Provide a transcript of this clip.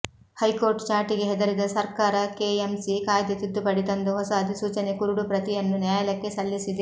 high court ಚಾಟಿಗೆ ಹೆದರಿದ ಸರ್ಕಾರ ಕೆಎಂಸಿ ಕಾಯ್ದೆ ತಿದ್ದುಪಡಿ ತಂದು ಹೊಸ ಅಧಿಸೂಚನೆ ಕರುಡು ಪ್ರತಿಯನ್ನು ನ್ಯಾಯಾಲಯಕ್ಕೆ ಸಲ್ಲಿಸಿದೆ